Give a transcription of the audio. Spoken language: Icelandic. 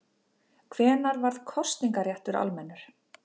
Hvenær varð kosningaréttur almennur?